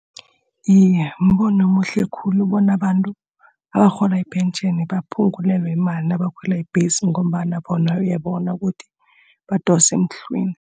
Iye, mbono omuhle khulu bona abantu abarhola ipentjheni baphungulelwe imali nabakhwela ibhesi, ngombana bona uyabona ukuthi badosa emhlweni.